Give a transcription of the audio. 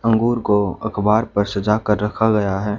अंगूर को अखबार पर सजा कर रखा गया है।